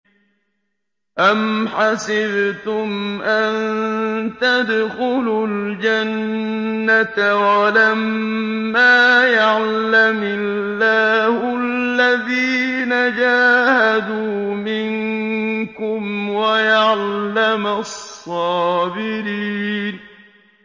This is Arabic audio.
أَمْ حَسِبْتُمْ أَن تَدْخُلُوا الْجَنَّةَ وَلَمَّا يَعْلَمِ اللَّهُ الَّذِينَ جَاهَدُوا مِنكُمْ وَيَعْلَمَ الصَّابِرِينَ